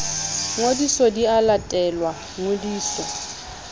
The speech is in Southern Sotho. ngodiso di a latelwa ngodiso